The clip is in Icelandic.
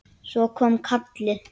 Svo kom kallið.